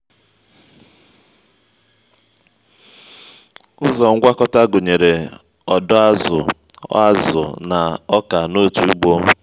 ụzọ ngwakọta gụnyere ọdọ azụ azụ na oka n'otu ugbo.